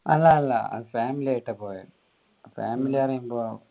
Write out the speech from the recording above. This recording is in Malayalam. അല്ല അല്ല family ആയിട്ട് പോയെ family